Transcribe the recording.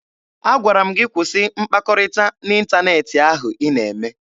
Agwara m gị kwụsị mkpakọrịta n'ịntaneetị ahụ ị na-eme!